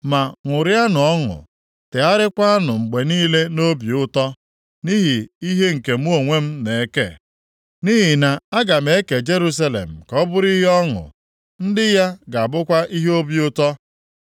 Ma ṅụrịanụ ọṅụ, tegharịakwa mgbe niile nʼobi ụtọ nʼihi ihe nke mụ onwe m na-eke, nʼihi na-aga eke Jerusalem ka ọ bụrụ ihe ọṅụ ndị ya ga-abụkwa ihe obi ụtọ.